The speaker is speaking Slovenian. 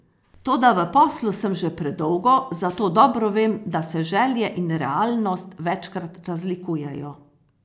Toda v poslu sem že predolgo, zato dobro vem, da se želje in realnost večkrat razlikujejo.